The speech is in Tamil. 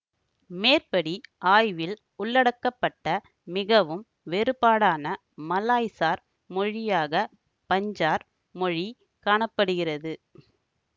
மேற்படி ஆய்வில் உள்ளடக்கப்பட்ட மிகவும் வேறுபாடான மலாய்சார் மொழியாக பஞ்சார் மொழி காண படுகிறது